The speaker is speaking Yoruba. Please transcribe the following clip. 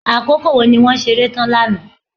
Àkókò wo ni wọ́n ṣeré tán lánàá.